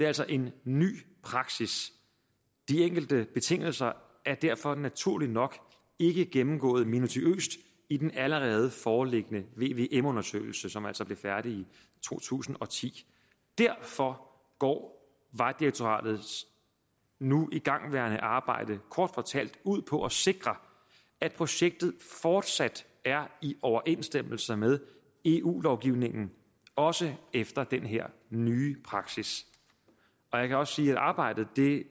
altså en ny praksis de enkelte betingelser er derfor naturligt nok ikke gennemgået minutiøst i den allerede foreliggende vvm undersøgelse som altså blev færdig i to tusind og ti derfor går vejdirektoratets nu igangværende arbejde kort fortalt ud på at sikre at projektet fortsat er i overensstemmelse med eu lovgivningen også efter den her nye praksis jeg kan også sige at arbejdet